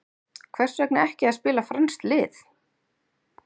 Hvers vegna ekki að spila franskt lið?